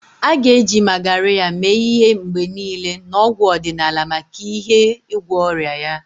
A ga-eji Magarya mee ihe mgbe niile na ọgwụ ọdịnala maka ihe igwọ ọrịa ya.